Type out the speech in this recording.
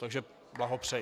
Takže blahopřeji.